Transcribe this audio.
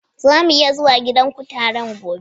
Za mu iya zuwa gidan kutaren gobe?